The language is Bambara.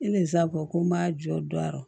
E ni sa ko n ma jɔ